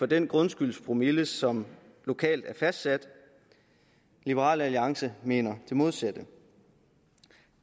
den grundskyldspromille som lokalt er fastsat liberal alliance mener det modsatte